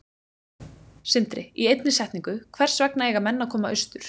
Sindri: Í einni setningu, hvers vegna eiga menn að koma austur?